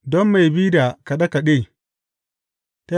Don mai bi da kaɗe kaɗe.